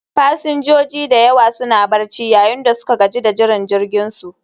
Fasinjoji da yawa suna barci, yayin da suka gaji da jiran jirginsu